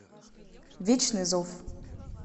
вечный зов